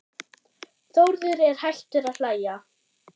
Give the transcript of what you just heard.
Þórður er hættur að hlæja.